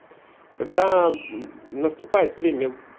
когдаа наступает время